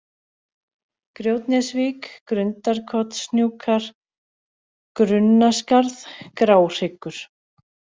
Grjótnesvík, Grundarkotshnjúkar, Grunnaskarð, Gráhryggur